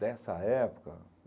Dessa época?